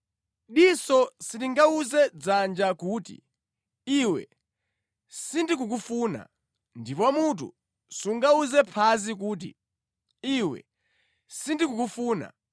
Diso silingawuze dzanja kuti, “Iwe sindikukufuna!” Ndipo mutu sungawuze phazi kuti “Iwe sindikukufuna!”